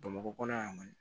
Bamakɔ kɔnɔ yan kɔni